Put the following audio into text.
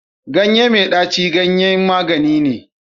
ganye mai daci ganyen magani ne